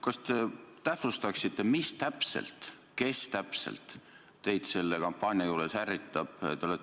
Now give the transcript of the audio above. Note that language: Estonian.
Kas te täpsustaksite, mis täpselt ja kes täpselt teid selle kampaania juures ärritab?